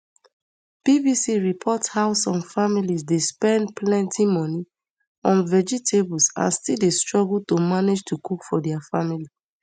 bbc report how some families dey spend plenty money on vegetables and still dey struggle to manage to cook for dia family